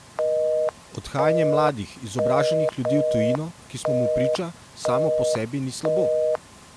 Odhajanje mladih, izobraženih ljudi v tujino, ki smo mu priča, samo po sebi ni slabo.